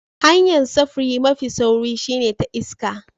Hanya'n safuri mafi sauri shine ta iska.